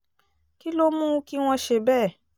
kí ló mú kí wọ́n ṣe bẹ́ẹ̀